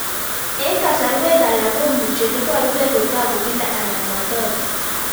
Eng'kasarwek alak komuchi ole parukei kotag'u kila anan matag'u